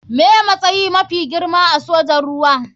Me matsayi mafi girma a sojin ruwa.